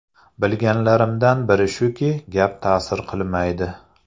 Bilganlarimdan biri shuki, gap ta’sir qilmaydi.